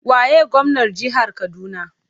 Waye gwamnar jihar Kaduna?